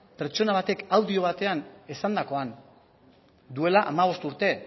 pertsona batek audio batean esandakoan duela hamabost urte